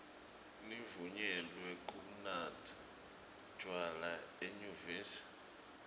nivunyelwe kunatsa tjwala enyuvesi